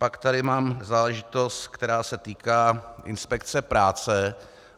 Pak tady mám záležitost, která se týká inspekce práce.